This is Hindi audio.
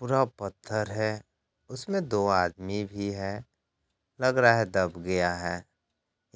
पूरा पत्थर है उसमें दो आदमी भी है लग रहा है दब गया है